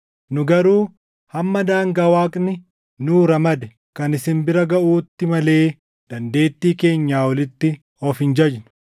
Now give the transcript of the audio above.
Nu garuu hamma daangaa Waaqni nuu ramade kan isin bira gaʼuutti malee dandeettii keenyaa olitti of hin jajnu.